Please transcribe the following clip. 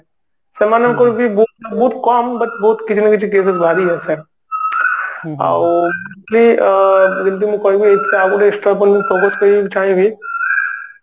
ସେମାନଙ୍କୁ ବି ବହୁତ ବହୁତ କମ but ବହୁତ କିଛି ନା କିଛି ଆଉ ସେ ଅ ଯେମତି ମୁଁ କହିବି ଆଉ ଥରେ extra ଆଉ ଗୋଟେ ମାନେ focused କରିବା ପାଇଁ ଚାହିଁ ବି